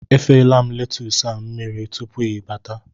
Efela m letus a mmiri tupu gị bata